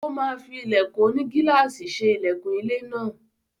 Ó máa fí ilẹ̀kùn onigílàsì ṣe ilẹkùn ilé náà.